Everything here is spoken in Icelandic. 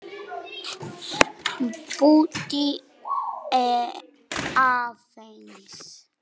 Bíddu aðeins!